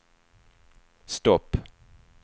stopp